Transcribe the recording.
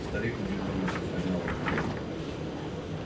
старик удивлённо приподнял одну бровь